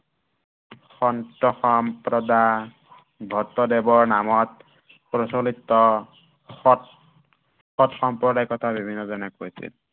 সন্তসম্প্ৰদান ভট্টদেৱৰ নামত প্ৰচলিত সত্ৰ সম্প্ৰদায়িকতা বিভিন্ন জনে কৈছিল।